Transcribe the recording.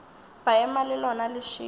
ba ema le lona lešilo